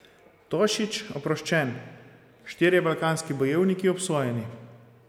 Tošić oproščen, štirje balkanski bojevniki obsojeni.